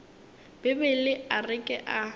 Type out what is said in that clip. bibele a re ke a